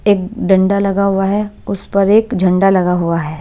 एक डंडा लगा हुआ है उस पर एक झंडा लगा हुआ है।